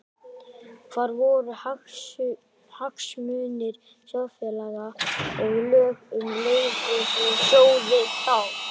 Hvar voru hagsmunir sjóðfélaga og lög um lífeyrissjóði þá?